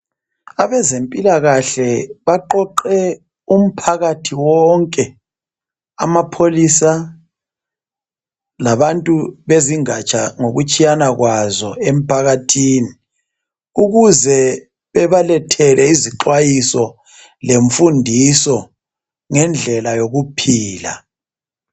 Abezempilakahle baqoqe umphakathi wonke, amapholisa labantu bezingatsha ngokutshiyana kwazo emphakathini, ukuze bebalethele izixwayiso lemfundiso ngendlela yokuphila.